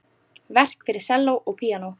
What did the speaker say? Verk fyrir selló og píanó.